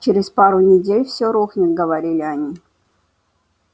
через пару недель всё рухнет говорили они